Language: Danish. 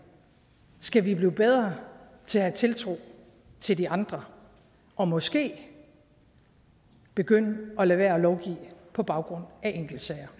skal vi blive bedre til at have tiltro til de andre og måske begynde at lade være med at lovgive på baggrund af enkeltsager